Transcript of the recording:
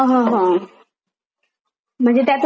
म्हणजे त्यातून आपल्याला पण काहीतरी पहिले पहिले;